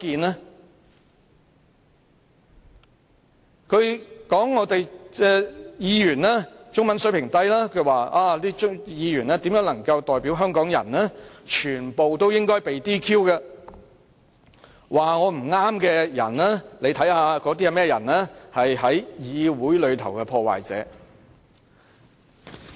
他指有關議員的中文水平低，無法代表香港人，應該全被 "DQ"， 又說批評他不對的人全是議會內的破壞者。